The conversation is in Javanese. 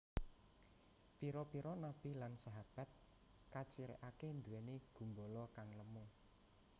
Pira pira Nabi lan sahabat kacirikake nduweni gumbala kang lemu